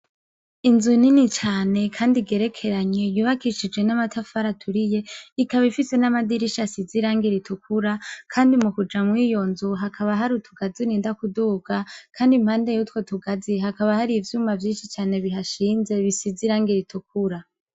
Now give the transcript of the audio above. Inzu nini cane, kandi igerekeranye yubakishijwe n'amatafara aturiye ikaba ifise n'amadirisha sizirange ritukura, kandi mu kuja mw'iyonzu hakaba hari utugazininda kuduka, kandi impande yutwe tugazi hakaba hari ivyuma vyinshi cane bihashinze bisizirango ritukura.